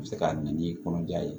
U bɛ se ka na ni kɔnɔja ye